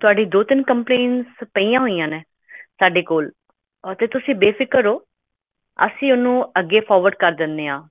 ਤੁਹਾਡੀਆਂ ਦੋ ਤਿੰਨ complaint ਸਾਡੇ ਕੋਲ ਹਨ ਅਤੇ ਤੁਸੀਂ ਬੇਫਿਕਰ ਰਹੋ ਅਸੀਂ ਇਸਨੂੰ forward ਕਰ ਦਿੰਦੇ ਹਾਂ